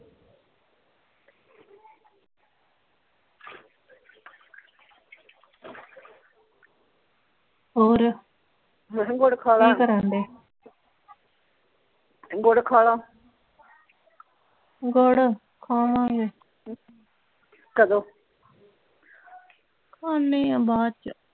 ਹੋਰ ਮੈਂ ਕਿਹਾ ਗੁੜ ਖਾ ਲਾ ਕੀ ਕਰਨ ਦਏ ਗੁੜ ਖਾ ਲਾ ਗੁੜ ਖਾਵਾਂਗੇ ਕਦੋਂ ਖਾਨੇ ਆਂ ਬਾਦ ਚ